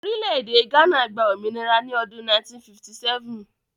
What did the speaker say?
Orílẹ̀-èdè Ghana gba òmìnira ní ọdún 1957.